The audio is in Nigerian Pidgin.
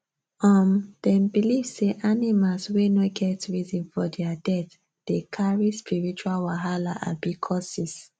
um dem believe say animals wey no get reason for their death dey carry spiritual wahala [abi] curses